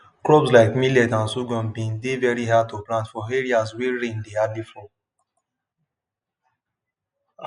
crops like millet and sorghum been dey very good to plant for areas wey rain dey hardly fall